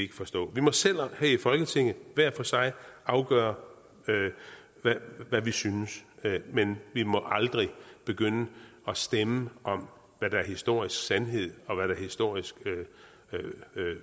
kan forstå vi må selv her i folketinget hver for sig afgøre hvad vi synes men vi må aldrig begynde at stemme om hvad der er historisk sandhed og hvad der er historisk